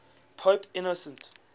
pope innocent